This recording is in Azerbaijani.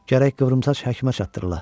Gərək qıvrımsaç həkimə çatdırıla.